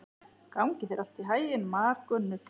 Gangi þér allt í haginn, Margunnur.